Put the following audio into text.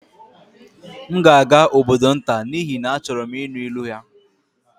M ga-aga obodo nta n'ihi na achọrọ m ịnụ ilu ya